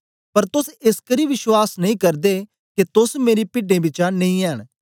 पर तोस एसकरी विश्वास नेई करदे के तोस मेरी पिड्डें बिचा नेई ऐंन